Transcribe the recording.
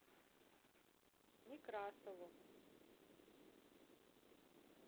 некрасову